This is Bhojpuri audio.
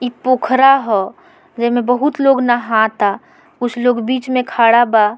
एक पोखरा हो जेमे बहुत लोग नहाता कुछ लोग बीच में खड़ा बा।